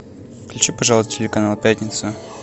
включи пожалуйста телеканал пятница